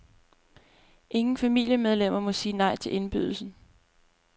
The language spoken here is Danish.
Ingen familiemedlemmer må sige nej til indbydelsen.